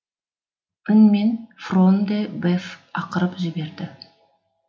үнмен фрон де беф ақырып жіберді